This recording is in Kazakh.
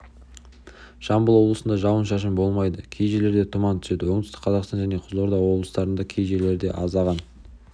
жамбыл облысында жауын-шашын болмайды кей жерлерде тұман түседі оңтүстік қазақстан және қызылорда облыстарында кей жерлерде аздаған